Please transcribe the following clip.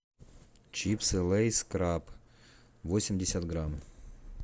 чипсы лейс краб восемьдесят грамм